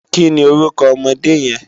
Kini órúkò òmòdé yèn?